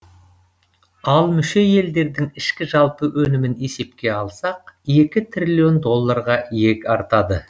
ал мүше елдердің ішкі жалпы өнімін есепке алсақ екі триллион доллларға иек артады